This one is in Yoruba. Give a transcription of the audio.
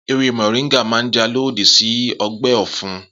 Ewé mọ̀ríńgà máa jà lòdì sí ọgbẹ́ ọ̀fun